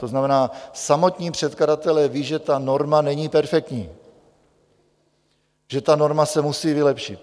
To znamená, samotní předkladatelé vědí, že ta norma není perfektní, že ta norma se musí vylepšit.